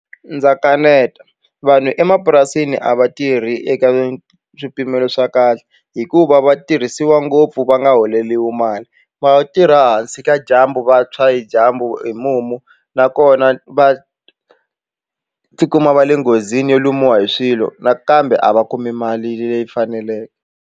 Ndza kaneta vanhu emapurasini a va tirhi eka swipimelo swa kahle hikuva va tirhisiwa ngopfu va nga holeriwi mali va tirha hansi ka dyambu va tshwa hi dyambu hi mumu nakona va tikuma va le nghozini yo lumiwa hi swilo nakambe a va kumi mali leyi faneleke.